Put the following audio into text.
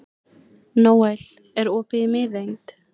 Nóel, er opið í Miðeind?